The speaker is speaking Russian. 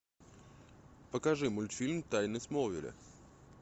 покажи мультфильм тайны смолвиля